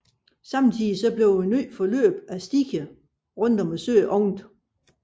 Samtidig åbnedes et nyt forløb af stier rundt om søen